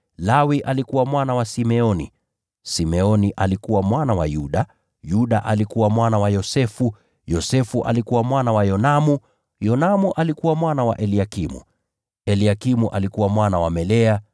Lawi alikuwa mwana wa Simeoni, Simeoni alikuwa mwana wa Yuda, Yuda alikuwa mwana wa Yosefu, Yosefu alikuwa mwana wa Yonamu, Yonamu alikuwa mwana wa Eliakimu, Eliakimu alikuwa mwana wa Melea,